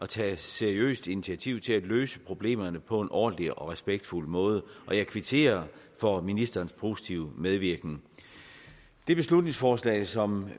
tages et seriøst initiativ til at løse problemerne på en ordentlig og respektfuld måde og jeg kvitterer for ministerens postive medvirken det beslutningsforslag som